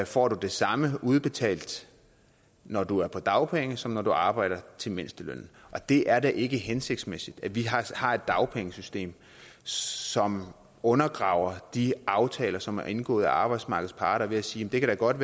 får du det samme udbetalt når du er på dagpenge som når du arbejder til mindstelønnen det er da ikke hensigtsmæssigt at vi har et dagpengesystem som undergraver de aftaler som er indgået af arbejdsmarkedets parter ved at sige at det da godt